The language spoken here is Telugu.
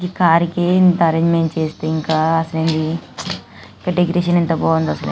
ఈ కారికే ఇంత ఆరెంజిమెంట్స్ చేస్తే ఇంకా డెకొరేషన్ ఎంత బాగుందో అసలా --.>